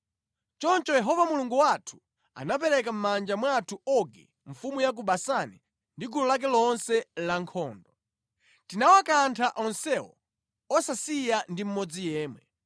Choncho Yehova Mulungu wathu anapereka mʼmanja mwathu Ogi mfumu ya ku Basani ndi gulu lake lonse lankhondo. Tinawakantha onsewo osasiya ndi mmodzi yemwe.